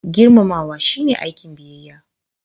Girmamawa shine aikin biyayya.